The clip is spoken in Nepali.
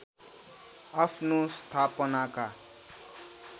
आफ्नो स्थापनाका